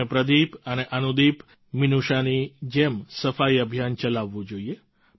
આપણે પ્રદીપ અને અનુદીપમિનૂષાની જેમ સફાઈ અભિયાન ચલાવવું જોઈએ